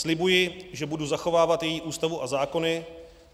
Slibuji, že budu zachovávat její Ústavu a zákony.